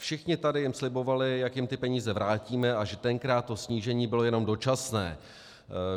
Všichni tady jim slibovali, jak jim ty peníze vrátíme a že tenkrát to snížení bylo jenom dočasné.